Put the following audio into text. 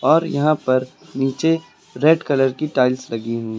और यहां पर नीचे रेड कलर की टाइल्स लगी हुई--